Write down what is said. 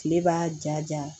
Kile b'a ja ja